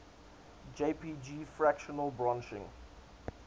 jpg fractal branching